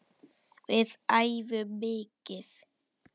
Við æfum mikið.